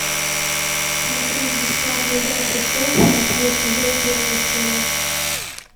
смотреть бесплатно игра престолов восьмой сезон первая серия